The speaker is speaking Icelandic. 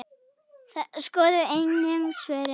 Skoðið einnig svörin